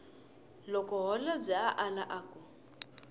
loko holobye a ala ku